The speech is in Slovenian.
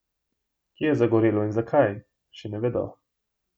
Kje je zagorelo in zakaj, še ne vedo.